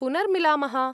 पुनर्मिलामः!